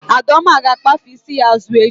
Adaoma ga-akpafe isi ya azụ echi